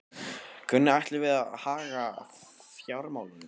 Hvernig ætlum við að haga fjármálunum?